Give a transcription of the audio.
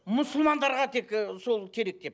мұсылмандарға тек ы сол керек деп